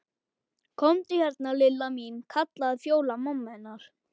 Komdu hérna Lilla mín kallaði Fjóla mamma hennar.